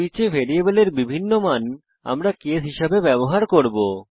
সুইচে ভ্যারিয়েবলের বিভিন্ন মান আমরা কেস হিসাবে ব্যবহার করব